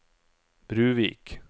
Bruvik